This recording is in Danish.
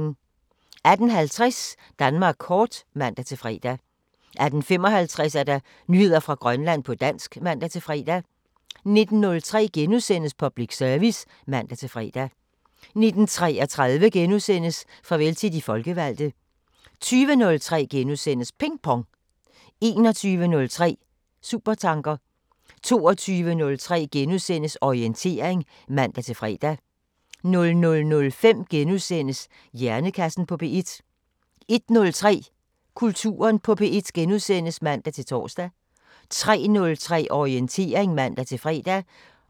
18:50: Danmark kort (man-fre) 18:55: Nyheder fra Grønland på dansk (man-fre) 19:03: Public Service *(man-fre) 19:33: Farvel til de folkevalgte * 20:03: Ping Pong * 21:03: Supertanker 22:03: Orientering *(man-fre) 00:05: Hjernekassen på P1 * 01:03: Kulturen på P1 *(man-tor) 03:03: Orientering (man-fre)